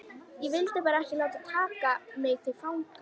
Ég vildi bara ekki láta taka mig til fanga